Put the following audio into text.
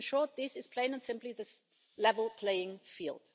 In short this is plain and simply the level playing field.